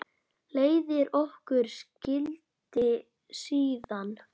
Leiðir okkar skildi síðan.